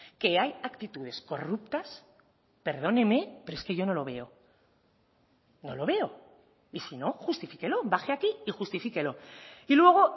que hay actitudes corruptas perdóneme pero es que yo no lo veo no lo veo y si no justifíquelo baje aquí y justifíquelo y luego